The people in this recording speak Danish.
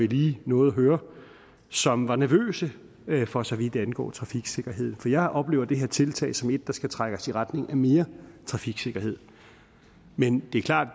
lige nåede at høre som var nervøse for så vidt angår trafiksikkerheden for jeg oplever det her tiltag som et der skal trække os i retning af mere trafiksikkerhed men det er klart at